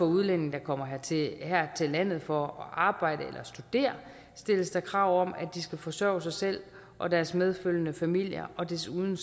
udlændinge der kommer her til her til landet for at arbejde eller studere stilles der krav om at de skal forsørge sig selv og deres medfølgende familier og desuden